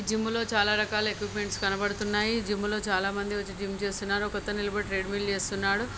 Gym లో చాలా రకాల ఎక్విప్మెంట్స్ కనబడుతున్నాయి జిమ్ లో చాలామంది వచ్చి జిమ్ చేస్తున్నారు. ఒకతను నిలబడి ట్రేడ్మిల్ చేస్తున్నాడు.